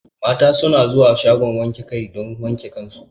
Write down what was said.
Mata su na zuwa shagon wanke kai don su wanke kan su